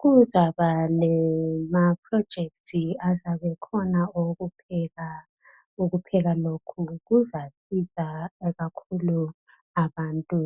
kuzaba lama projects azabe ekhona okupheka ukupheka lokhu kuzasiza kakhulu abantu